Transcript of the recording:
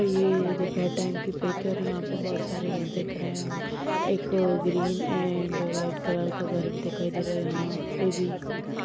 यहाँ पे बहुत सारे घर दिखाई दे रहे हैं एक ग्रीन एंड वाइट कलर का घर भी दिखाई दे रहा है यहाँ पे भी।